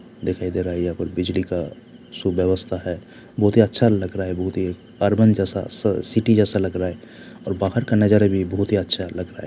दिखाई दे रहा है ये कोई बिजली का शुभ अवस्था है बहुत ही अच्छा लग रहा है बहुत ही अर्बन जैसा सिटी जैसा लग रहा है और बाहर का नजारा भी बहुत ही अच्छा लग रहा है।